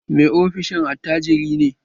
Mai ofishin attajiri ne